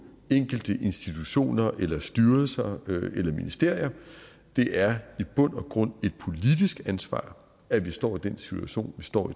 enkelte institutioner styrelser eller ministerier det er i bund og grund et politisk ansvar at vi står i den situation vi står